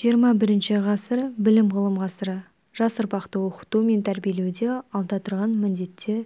жиырма бірінші ғасыр білім-ғылым ғасыры жас ұрпақты оқыту мен тәрбиелеуде алда тұрған міндетте